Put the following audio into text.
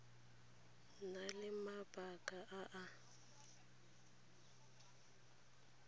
na le mabaka a a